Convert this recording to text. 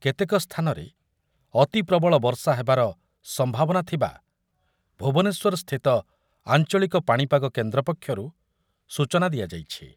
କେତେକ ସ୍ଥାନରେ ଅତିପ୍ରବଳ ବର୍ଷା ହେବାର ସମ୍ଭାବନାଥିବା ଭୁବନେଶ୍ୱରସ୍ଥିତ ଆଞ୍ଚଳିକ ପାଣିପାଗ କେନ୍ଦ୍ର ପକ୍ଷରୁ ସୂଚନା ଦିଆଯାଇଛି ।